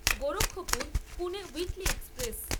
Gorakhpur Pune weekly express